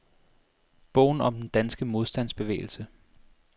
Bogen om den danske modstandsbevægelse.